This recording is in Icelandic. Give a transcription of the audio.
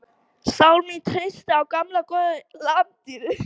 Sál mín treystir á gamla góða lamadýrið.